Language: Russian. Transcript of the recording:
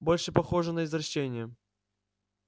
больше похоже на извращение